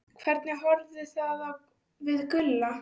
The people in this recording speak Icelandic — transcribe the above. Hvernig horfði það við Gulla?